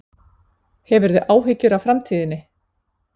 Hefurðu áhyggjur af framtíðinni?